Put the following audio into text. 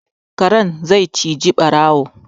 Kare zai cije ɓarawo